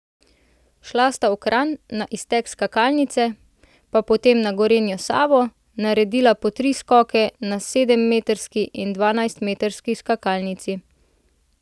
Šla sta v Kranj, na iztek skakalnice, pa potem na Gorenjo Savo, naredila po tri skoke na sedemmetrski in dvanajstmetrski skakalnici.